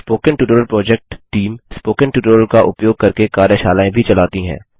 spoken tutorial project team spoken tutorial का उपयोग करके कार्यशालाएँ भी चलाती है